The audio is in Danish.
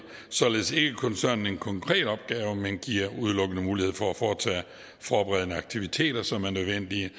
således ikke koncernen en konkret opgave men giver udelukkende mulighed for at foretage forberedende aktiviteter som er nødvendige